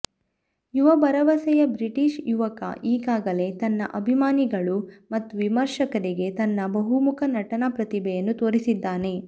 ಯುವ ಭರವಸೆಯ ಬ್ರಿಟಿಷ್ ಯುವಕ ಈಗಾಗಲೇ ತನ್ನ ಅಭಿಮಾನಿಗಳು ಮತ್ತು ವಿಮರ್ಶಕರಿಗೆ ತನ್ನ ಬಹುಮುಖ ನಟನಾ ಪ್ರತಿಭೆಯನ್ನು ತೋರಿಸಿದ್ದಾನೆ